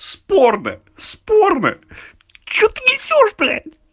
спорно спорно че ты несёшь блять